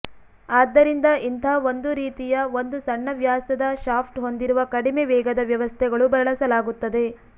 ಆದ್ದರಿಂದ ಇಂತಹ ಒಂದು ರೀತಿಯ ಒಂದು ಸಣ್ಣ ವ್ಯಾಸದ ಶಾಫ್ಟ್ ಹೊಂದಿರುವ ಕಡಿಮೆ ವೇಗದ ವ್ಯವಸ್ಥೆಗಳು ಬಳಸಲಾಗುತ್ತದೆ